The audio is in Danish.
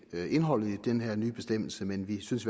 til indholdet i den her nye bestemmelse men vi synes